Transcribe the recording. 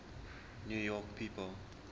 new york people